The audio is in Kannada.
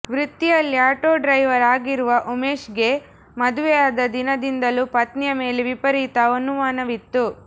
ವೃತ್ತಿಯಲ್ಲಿ ಆಟೋ ಡ್ರೈವರ್ ಆಗಿರುವ ಉಮೇಶ್ಗೆ ಮದುವೆ ಆದ ದಿನದಿಂದಲೂ ಪತ್ನಿಯ ಮೇಲೆ ವಿಪರೀತ ಅನುಮಾನವಿತ್ತು